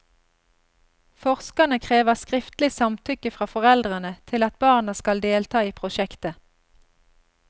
Forskerne krever skriftlig samtykke fra foreldrene til at barna skal delta i prosjektet.